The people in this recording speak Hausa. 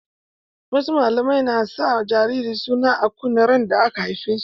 Wasu musulmia na sa ma jarirai suna a kunne randa aka haife su.